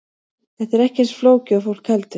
Þetta er ekki eins flókið og fólk heldur.